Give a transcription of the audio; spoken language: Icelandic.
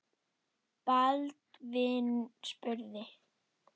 Baldvin spurði